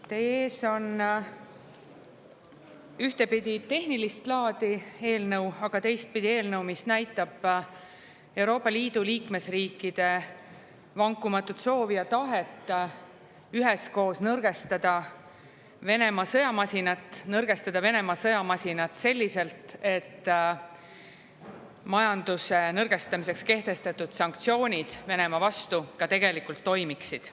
Teie ees on ühtepidi tehnilist laadi eelnõu, aga teistpidi eelnõu, mis näitab Euroopa Liidu liikmesriikide vankumatut soovi ja tahet üheskoos nõrgestada Venemaa sõjamasinat ning teha seda selliselt, et majanduse nõrgendamiseks kehtestatud sanktsioonid Venemaa vastu ka tegelikult toimiksid.